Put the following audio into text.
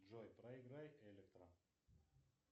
джой проиграй электро